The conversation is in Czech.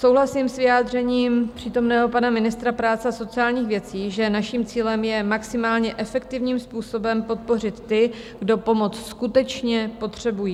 Souhlasím s vyjádřením přítomného pana ministra práce a sociálních věcí, že naším cílem je maximálně efektivním způsobem podpořit ty, kdo pomoc skutečně potřebují.